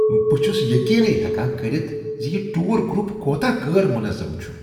بہٕ چھس یقینے ہیکان کٔرِتھ زِ یہ ٹوٗر گرپ کوتاہ غیر منظم چھ۔